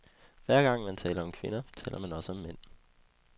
Hver gang man taler om kvinder, taler man også om mænd.